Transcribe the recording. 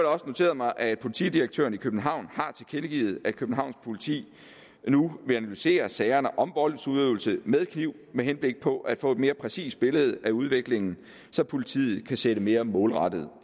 også noteret mig at politidirektøren i københavn har tilkendegivet at københavns politi nu vil analysere sagerne om voldsudøvelse med kniv med henblik på at få et mere præcist billede af udviklingen så politiet kan sætte mere målrettet